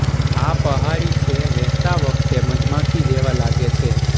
આ પહાડી છે વેહતા વખતે મધમાખી જેવા લાગે છે